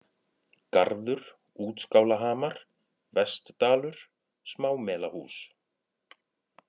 Garður, Útskálahamar, Vestdalur, Smámelahús